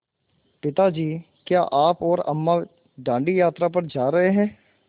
पिता जी क्या आप और अम्मा दाँडी यात्रा पर जा रहे हैं